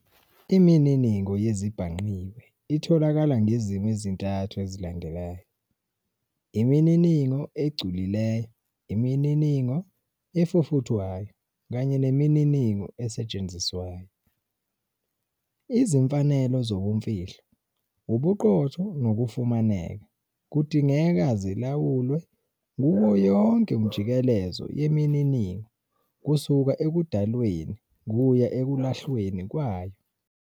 Imininingo yezezibhangqiwe itholakala ngezimo ezintathu ezilandelayo- Imininingo egculileyo, imininingo efufuthwayo, kanye nemininingo esetshenziswayo. Izimfanelo zobumfihlo, ubuqotho nokufumaneka, kudingeka zilawulwe kuwo yonke umjikelezo yemininingo kusuka 'ekudalweni' kuya ekulahlweni kwayo.